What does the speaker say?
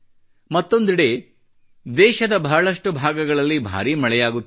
ಮತ್ತೊಂದೆಡೆ ದೇಶದ ಬಹಳಷ್ಟು ಭಾಗಗಳಲ್ಲಿ ಭಾರೀ ಮಳೆಯಾಗುತ್ತಿದೆ